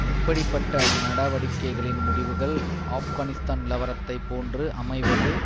இப்படி பட்ட நடவடிக்கைகளின் முடிவுகள் ஆப்கானிஸ்தான் நிலவரத்தை போன்று அமைவது